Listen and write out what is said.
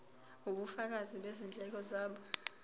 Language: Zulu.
ubufakazi bezindleko zabo